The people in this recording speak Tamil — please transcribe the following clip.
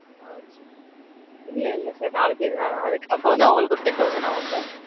இல்ல இல்ல sir நாலு பேர்தா. அது அப்போ வந்து அவங்களுக்கு ஒரு ten thousand ஆகும் sir.